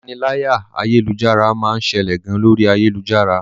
Ìpaniláyà ayélujára máa ń ṣẹlẹ̀ gan lórí ayélujára.